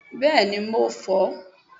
bẹẹni mo fó